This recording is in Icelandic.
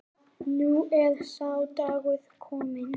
Nú er sá dagur kominn.